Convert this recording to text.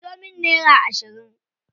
Anso min nera ashirin.